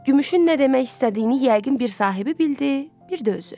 Gümüşün nə demək istədiyini yəqin bir sahibi bildi, yəqin də özü.